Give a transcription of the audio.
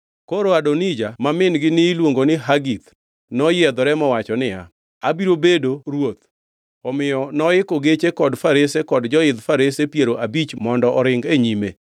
Koro Adonija ma min-gi niluongo ni Hagith noyiedhore mowacho niya, “Abiro bedo ruoth.” Omiyo noiko geche kod farese kod joidh farese piero abich mondo oring e nyime.